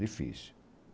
Difícil.